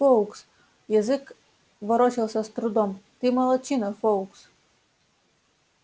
фоукс язык ворочался с трудом ты молодчина фоукс